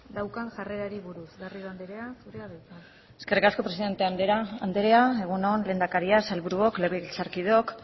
daukan jarrerari buruz garrido andrea zurea da hitza eskerrik asko presidente andrea egun on lehendakaria sailburuok legebiltzarkideok